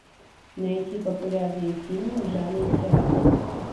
найти популярные фильмы в жанре театра